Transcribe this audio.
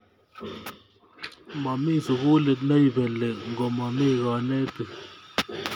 Momi sukulit neipeli ngo mami kanetik